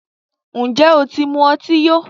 Ǹjẹ́ o ti mu ọtí yó?